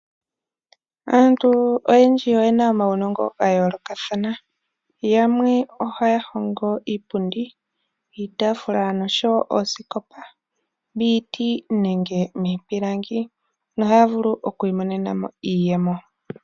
Aantu oyendji oye na omaunongo ga yoolokathana yamwe oha ya hongo iipundi, iitafula noshowo oosikopa dhiiti nenge miipilangi noha ya vulu okwiimonena iiyemo.